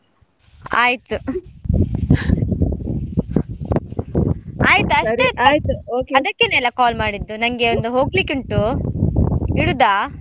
ಆಯ್ತು ಆಯ್ತು ಅಷ್ಟೇ ಅದಕ್ಕೇನಲ್ಲ call ಮಾಡಿದ್ದು, ನಂಗೆ ಒಂದು ಹೋಗ್ಲಿಕ್ಕೆ ಉಂಟು ಇಡುದಾ?